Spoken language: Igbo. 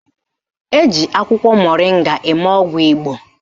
Eji akwụkwọ moringa eme ọgwụ Igbo